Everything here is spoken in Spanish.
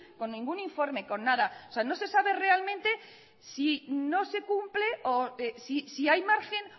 con ningún informe con nada o sea no se sabe realmente si no se cumple o si hay margen